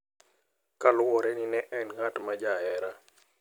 Kaluwore ni ne en ng`at ma jahera.